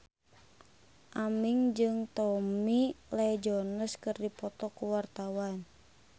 Aming jeung Tommy Lee Jones keur dipoto ku wartawan